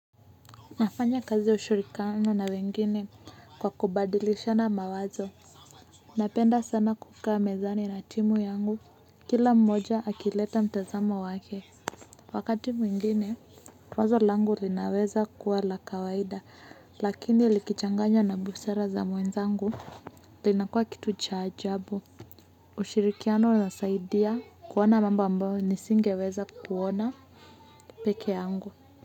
Nafanya kazi ushirikano na wengine kwa kubadilisha na mawazo napenda sana kukaa mezani na timu yangu kila mmoja akileta mtazamo wake wakati mwingine wazo langu linaweza kuwa la kawaida lakini likichanganya na busara za mwenzangu linakua kitu cha ajabu. Ushirikano unasaidia kuona mambo ambayo nisingeweza kuona peke yangu.